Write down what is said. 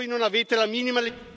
Voi non avete la minima...